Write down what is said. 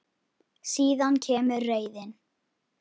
Síðan kemur reiðin.